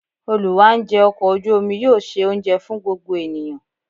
Olù wá ńjẹ ọkọ̀ ojú omi yóò ṣe oúnjẹ fún gbogbo ènìyàn.